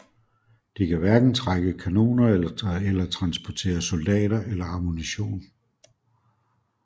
De kan hverken trække kanoner eller transportere soldater eller ammunition